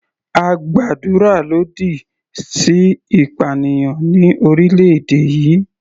A gbàdúrà lòdì sí ìpànìyàn ní orílẹ̀-èdè yìí.